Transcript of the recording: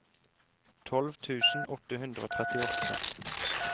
tolv tusen åtte hundre og trettiåtte